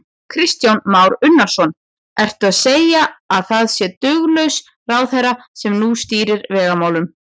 Kristján Már Unnarsson: Ertu að segja að það sé duglaus ráðherra sem nú stýrir vegamálunum?